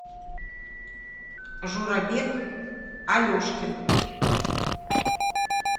журабек алешкин